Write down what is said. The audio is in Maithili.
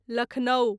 लखनऊ